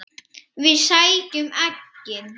Við sækjum eggin.